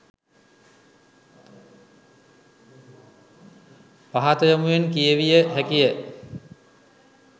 පහත යොමුවෙන් කියවිය හැකිය